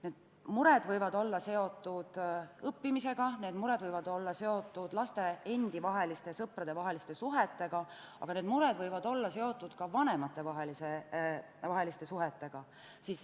Need mured võivad olla seotud õppimisega, need mured võivad olla seotud laste endi vaheliste, sõpradevaheliste suhetega, aga need mured võivad olla seotud ka vanematevaheliste suhetega.